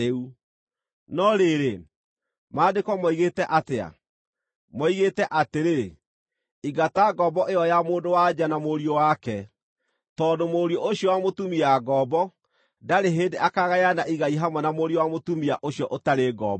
No rĩrĩ, Maandĩko moigĩte atĩa? Moigĩte atĩrĩ, “Ingata ngombo ĩyo ya mũndũ-wa-nja na mũriũ wake, tondũ mũriũ ũcio wa mũtumia ngombo ndarĩ hĩndĩ akagayana igai hamwe na mũriũ wa mũtumia ũcio ũtarĩ ngombo.”